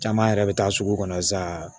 Caman yɛrɛ bɛ taa sugu kɔnɔ sa